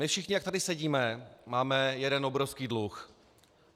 My všichni, jak tady sedíme, máme jeden obrovský dluh.